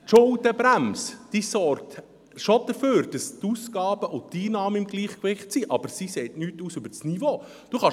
Die Schuldenbremse sorgt zwar dafür, dass die Ausgaben und Einnahmen im Gleichgewicht sind, aber sie sagt nichts über das Niveau aus.